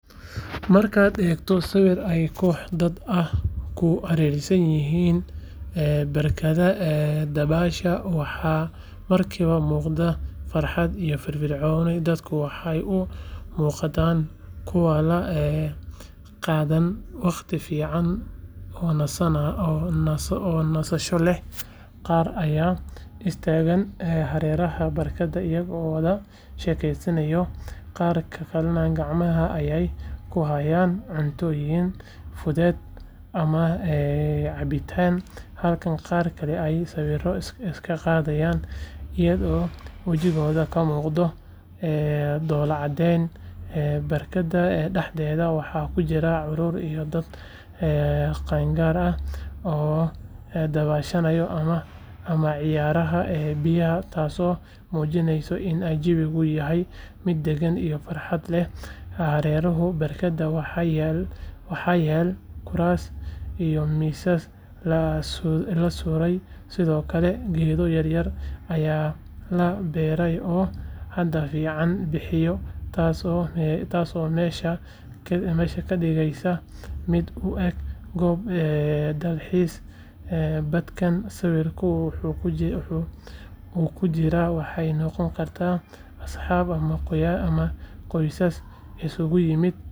Markaad eegto sawir ay koox dad ah ku hareeraysan yihiin barkadda dabaasha waxa markiiba muuqata farxad iyo firfircooni dadku waxay u muuqdaan kuwo la qaadanaya waqti fiican oo nasasho leh qaar ayaa istaagay hareeraha barkadda iyagoo wada sheekeysanaya qaar kalena gacmaha ayay ku hayaan cuntooyin fudud ama cabitaan halka qaar kale ay sawiro iskaga qaadayaan iyadoo wejiyadooda ka muuqato dhoolla caddeyn barkadda dhexdeeda waxa ku jira carruur iyo dad qaangaar ah oo dabaalanaya ama ciyaaraya biyaha taasoo muujinaysa in jawigu yahay mid degan iyo farxad leh hareeraha barkadda waxa yaal kuraas iyo miisas la sudhay sidoo kale geedo yaryar ayaa la beeray oo hadh fiican bixinaya taasoo meesha ka dhigaysa mid u eeg goob dalxiis dadkan sawirka ku jira waxay noqon karaan asxaab ama qoysas isugu yimid.